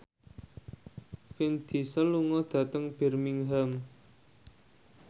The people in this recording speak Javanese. Vin Diesel lunga dhateng Birmingham